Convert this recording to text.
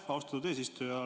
Aitäh, austatud eesistuja!